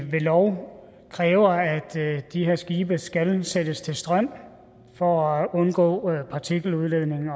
ved lov kræver at de her skibe skal sættes til strøm for at undgå partikeludledning